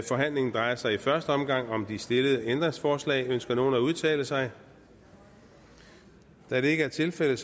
forhandlingen drejer sig i første omgang om de stillede ændringsforslag ønsker nogen at udtale sig da det ikke er tilfældet